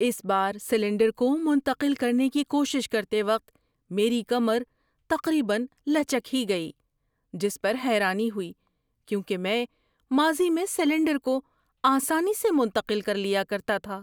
اس بار سلنڈر کو منتقل کرنے کی کوشش کرتے وقت میری کمر تقریبا لچک ہی گئی، جس پر حیرانی ہوئی کیونکہ میں ماضی میں سلنڈر کو آسانی سے منتقل کر لیا کرتا تھا۔